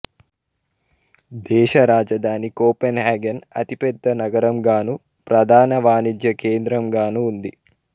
దేశ రాజధాని కోపెన్హాగన్ అతిపెద్ద నగరంగానూ ప్రధాన వాణిజ్య కేంద్రంగానూ ఉంది